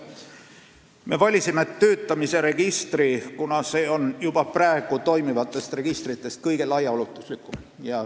Me valisime töötamise registri, kuna see on praegu toimivatest registritest kõige laiaulatuslikum.